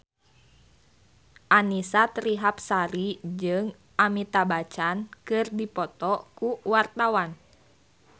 Annisa Trihapsari jeung Amitabh Bachchan keur dipoto ku wartawan